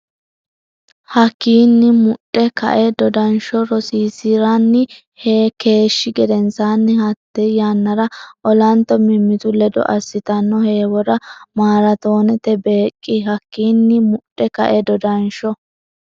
Hakkiinni mudhe kae dodansho rosiisi’ranni keeshshi gedensaanni hatta yannara olanto mimmitu ledo assitanno heewora maaraatoonete beeq- Hakkiinni mudhe kae dodansho.